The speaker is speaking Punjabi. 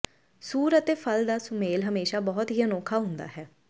ਸੂਰ ਅਤੇ ਫਲ ਦਾ ਸੁਮੇਲ ਹਮੇਸ਼ਾਂ ਬਹੁਤ ਹੀ ਅਨੋਖਾ ਹੁੰਦਾ ਹੈ